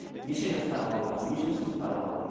неше жастағы балалар нешінші сыныптағы балалар